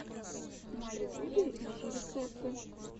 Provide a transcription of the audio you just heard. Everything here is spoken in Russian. на ютубе ищи рецепты